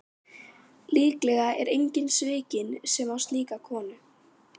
Líklega er enginn svikinn sem á slíka konu.